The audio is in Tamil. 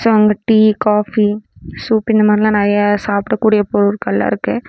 சோ அங்க டீ காஃபி சூப் இந்த மாரில்லா நிறைய சாப்டக்கூடிய பொருட்கள்லா இருக்கு.